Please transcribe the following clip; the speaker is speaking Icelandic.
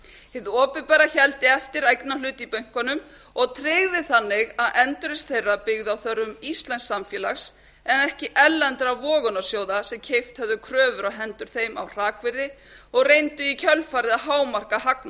hið opinbera héldi eftir eignarhlut í bönkunum og tryggði þannig að endurreisn þeirra byggði á þörfum íslensks samfélags en ekki erlendra vogunarsjóða sem keypt höfðu kröfur á hendur þeim á hrakvirði og reyndu í kjölfarið að hámarka hagnað